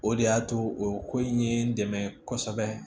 O de y'a to o ko in ye n dɛmɛ kosɛbɛ